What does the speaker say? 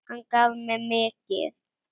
Hann gaf mér mikið.